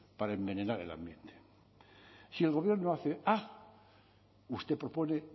para envenenar el ambiente si el gobierno hace a usted propone